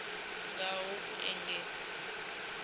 ngaho u engedza mukano wa